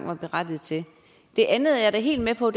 var berettiget til det andet er jeg da helt med på